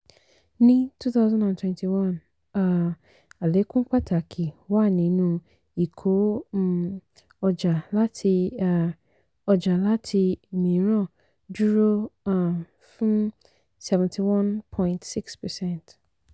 ní twenty twenty one um àlékún pàtàkì wà nínú ìkó um ọjà láti um ọjà láti mìíràn dúró um fún seventy one point six percent.